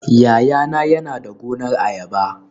Yayana yana da gonar ayaba